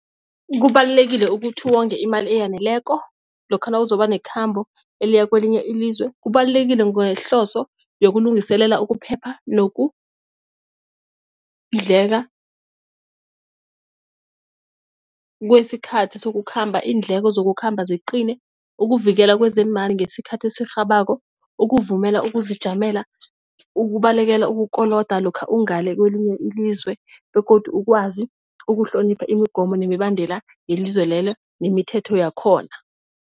Kubalulekile ukuthi wonge imali eyaneleko lokha nawuzoba nekhamba eliya kwelinye ilizwe. Kubalulekile ngehloso yokulungiselela ukuphepha nokudleka kwesikhathi sokukhamba iindleko zokukhamba ziqine, ukuvikela kwezeemali ngesikhathi esirhabako, ukuvumela ukuzijamela, ukubalekela ukukoloda lokha ungale kwelinye ilizwe begodu ukwazi ukuhlonipha imigomo nemibandela yelizwe lelo nemithetho yakhona.